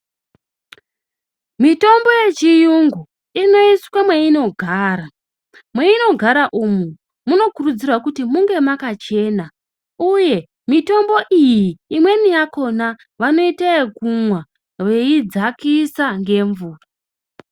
Mitombo yechiyungu inoiswe mweinogara. Mweinogara umu munokurudzirwa kuti munge mwakachena uye mitombo iyi imweni yakhona vanoite yekumwa veidzakisa ngemvura.